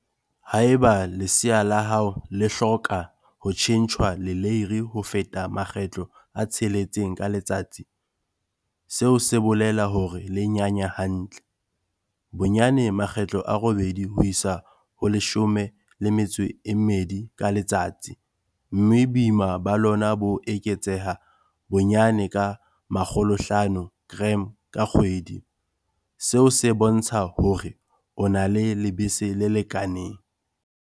Haeba lesea la hao le hloka ho tjhentjhwa leleiri ho feta makgetlo a tsheletseng ka letsatsi, seo se bolela hore le nyanya hantle, bonyane makgetlo a robedi ho isa ho a 12 ka letsatsi, mme boima ba lona bo eketseha bonyane ka 500g ka kgwedi, seo se bontsha hore o na le lebese le lekaneng.